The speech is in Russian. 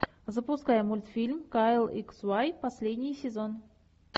запускай мультфильм кайл икс уай последний сезон